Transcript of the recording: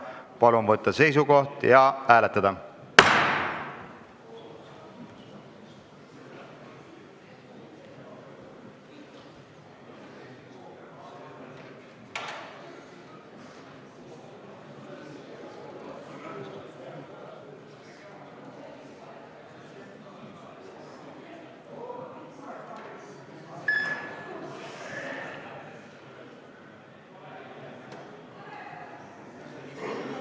Palun võtta seisukoht ja hääletada!